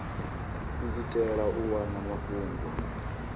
u itela u wana mafhungo